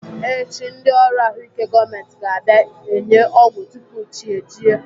Echi, ndị ọrụ ahụike gọọmenti ga-abịa enye ọgwụ tupu chi ejie.